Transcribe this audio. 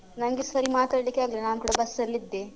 ನಂಗೆ ಸರಿ ಮಾತಾಡ್ಲಿಕ್ಕೆ ಆಗ್ಲಿಲ್ಲ ನಾನ್ ಕೂಡ ಬಸ್ ಅಲ್ ಇದ್ದೆ.